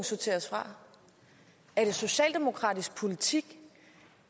sorteres fra er det socialdemokratisk politik